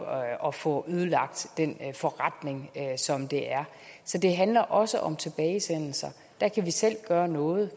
at få ødelagt den forretning som det er så det handler også om tilbagesendelser der kan vi selv gøre noget